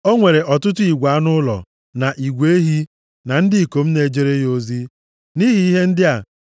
O nwere ọtụtụ igwe anụ ụlọ, na igwe ehi, na ndị ikom na-ejere ya ozi. Nʼihi ihe ndị a, ndị Filistia bidoro inwe anya ukwu megide ya.